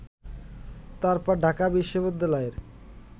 তারপর ঢাকা বিশ্ববিদ্যালয়ের